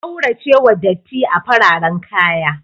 A kauracewa datti a fararan kaya.